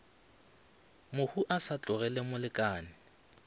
mohu a sa tlogele molekane